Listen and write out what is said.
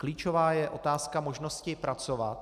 Klíčová je otázka možnosti pracovat.